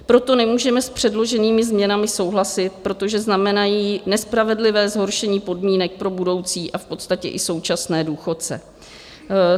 Proto nemůžeme s předloženými změnami souhlasit, protože znamenají nespravedlivé zhoršení podmínek pro budoucí a v podstatě i současné důchodce.